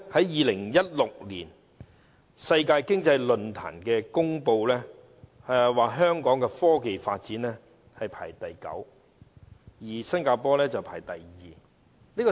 2016年，世界經濟論壇公布香港在科技發展排名第九，新加坡則排第二。